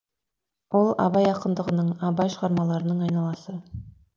ол абай ақындығының абай шығармаларының айналасы